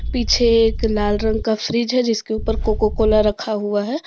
पीछे एक लाल रंग का फ्रिज है जिसके ऊपर कोको कोला रखा हुआ है।